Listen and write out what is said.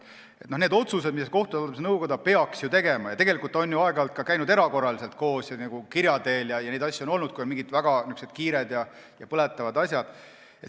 Tegelikult on nõukoda ju aeg-ajalt käinud ka erakorraliselt koos ja arutanud kirja teel, kui on olnud mingid väga kiired ja põletavad asjad.